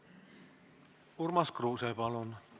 Urmas Kruuse, palun!